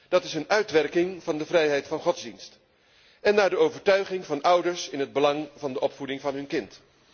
Dat is een uitwerking van de vrijheid van godsdienst en naar de overtuiging van ouders, in het belang van de opvoeding van hun kind.